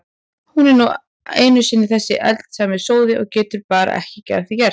Hún er nú einu sinni þessi endemis sóði og getur bara ekki að því gert.